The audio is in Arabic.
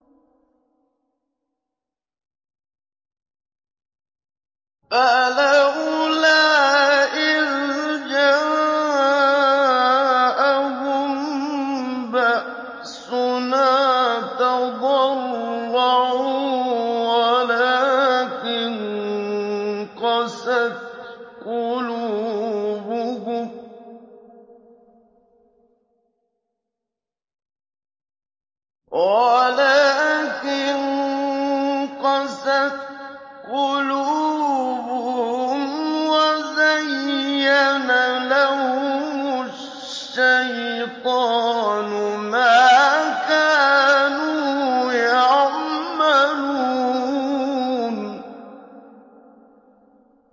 فَلَوْلَا إِذْ جَاءَهُم بَأْسُنَا تَضَرَّعُوا وَلَٰكِن قَسَتْ قُلُوبُهُمْ وَزَيَّنَ لَهُمُ الشَّيْطَانُ مَا كَانُوا يَعْمَلُونَ